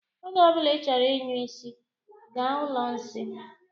Oge ọbula I chọrọ ịnyụ nsị, gaa ụlọ nsị.